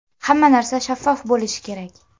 Hamma narsa shaffof bo‘lishi kerak.